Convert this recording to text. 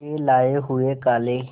के लाए हुए काले